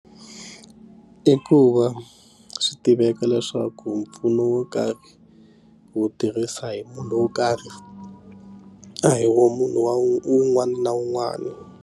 I ku va swi tiveka leswaku mpfuno wo karhi wo tirhisa hi munhu wo karhi a hi wo munhu wa un'wana na un'wana.